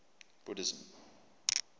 buddhism